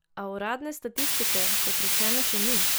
A, uradne statistike, kot rečeno še ni.